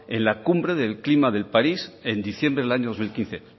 en la cumbre del clima del país en diciembre del año dos mil quince